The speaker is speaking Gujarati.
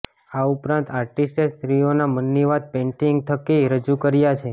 આ ઉપરાંત આર્ટિસ્ટે સ્ત્રીઓના મનની વાત પેઈન્ટિંગ્સ થકી રજૂ કરિયા છે